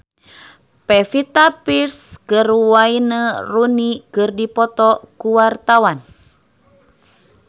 Pevita Pearce jeung Wayne Rooney keur dipoto ku wartawan